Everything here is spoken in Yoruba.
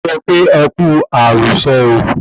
Mo kí wọn pe e Kú àrùsọ̀ o